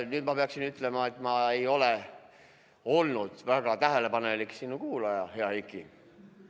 Nüüd ma pean ütlema, et ma ei ole olnud sinu väga tähelepanelik kuulaja, hea Heiki.